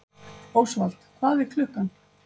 Ósvald, hvað er klukkan?